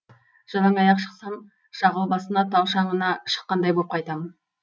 жалаң аяқ шықсам шағыл басына тау шыңына шыққандай боп қайтамын